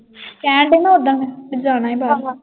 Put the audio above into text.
ਕਹਿਣ ਡਏ ਸੀ ਨਾ ਓਦਣ। ਜਾਣਾ ਹੀ ਬਾਹਰ।